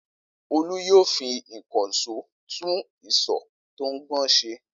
Olú yóò fi ìkànṣó tún isọ̀ tó ń gbọ̀n ṣe.